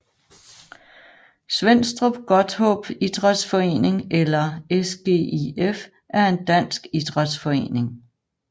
Svenstrup Godthåb Idrætsforening eller SGIF er en dansk idrætsforening